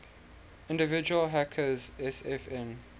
individual hackers sfn